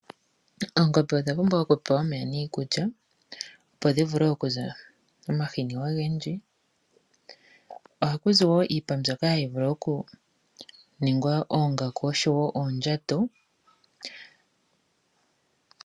Oongombe odha pumbwa okupewa omeya niikulya opo dhi vule okuza omahini ogendji. Ohaku zi woo iipa mbyoka hayi vulu okuningwa oongaku osho woo oondjato.